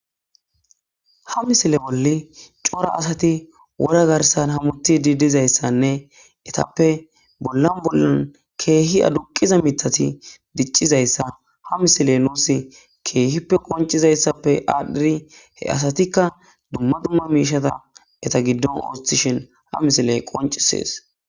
ha misile wolli cora asati wora garsan hamuti didizayssanne etappe bollan bollan keehi aduqiza mitati diccizayssa ha misiley nuus keehippe qoncizayssappe aadhdhiri he asatikka dumma dumma miishata eta giddon awstishen ha misiley qoncisees